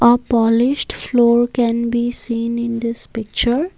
a polished floor can be seen in this picture.